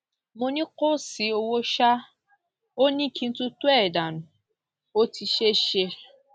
mo ní kò tí ì ṣòwò ṣáá o ò ní kí n tutọ ẹ dànù ó ti ṣeé ṣe